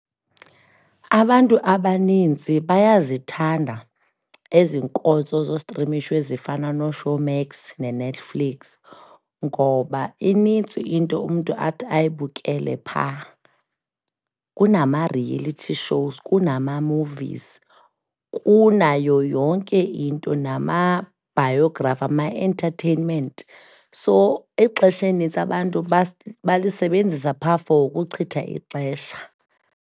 Abantu abaninzi bayazithanda ezi nkonzo zostrimisho ezifana noShowmax neNetflix ngoba inintsi into umntu athi ayibukele phaa. Kunama-reality shows, kunama-movies. Kunayo yonke into nama-Biography, ama-entertainment. So, ixesha elinintsi abantu balisebenzisa phaa for ukuchitha ixesha.